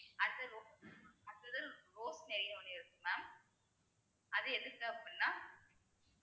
அடுத்தது இருக்கு mam அது எதுக்கு அப்படின்னா